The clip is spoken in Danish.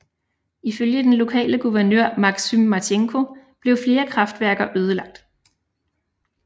Ifølge den lokale guvernør Maxym Marchenko blev flere kraftværker ødelagt